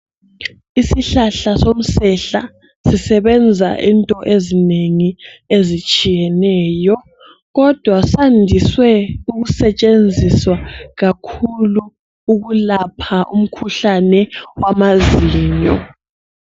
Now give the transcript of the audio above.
Isihlala somsehla sisebenza into ezinengi ezitshiyeneyo, kodwa sandise ukusetshenziswa kakhulu ukulapha umkhuhlane wamaziyo.